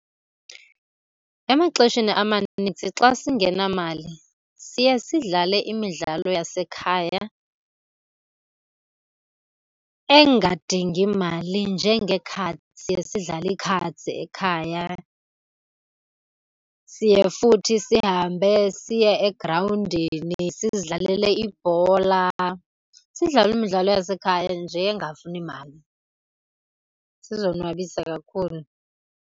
Emaxesheni amaninzi xa singenamali siye sidlale imidlalo yasekhaya engadingi mali njengee-cards. Siye sidlale ii-cards ekhaya. Siye futhi sihambe siye egrawundini sizidlalele ibhola, sidlale imidlalo yasekhaya nje engafuni mali, sizonwabise kakhulu.